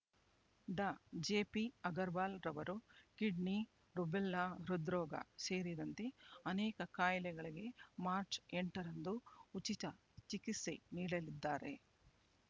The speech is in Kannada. ಡಾ ಜೆಪಿ ಅಗರವಾಲ್ ರವರು ಕಿಡ್ನಿ ರುಬೆಲ್ಲಾ ಹೃದ್ರೋಗ ಸೇರಿದಂತೆ ಅನೇಕ ಕಾಯಿಲೆಗಳಿಗೆ ಮಾರ್ಚ್ ಎಂಟರಂದು ಉಚಿತ ಚಿಕಿತ್ಸೆ ನೀಡಲಿದ್ದಾರೆ